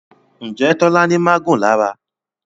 Njé Tola ní magun lára?